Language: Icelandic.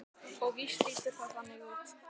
Og víst lítur það þannig út.